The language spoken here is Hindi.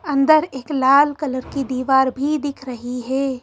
अंदर एक लाल कलर की दीवार भी दिख रही है।